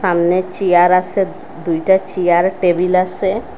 সামনে চেয়ার আসে দুইটা চেয়ার টেবিল আসে।